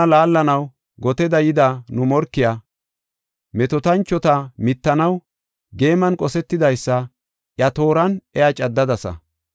Nuna laallanaw goteda yida nu morkiya, metootanchota mittanaw geeman qosetidaysa, iya tooran iya caddadasa.